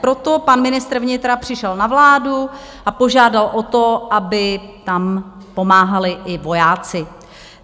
Proto pan ministr vnitra přišel na vládu a požádal o to, aby tam pomáhali i vojáci.